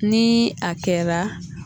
Ni a kɛra